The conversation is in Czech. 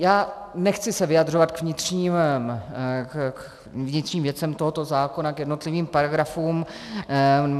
Já se nechci vyjadřovat k vnitřním věcem tohoto zákona, k jednotlivým paragrafům.